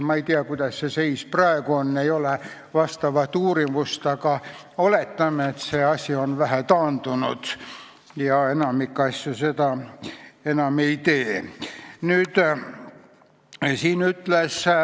Ma ei tea, kuidas see seis praegu on, ei ole vastavat uurimust, aga oletame, et see asi on väheke taandunud ja enamik seda enam ei tee.